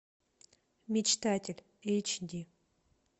мечтатель эйч ди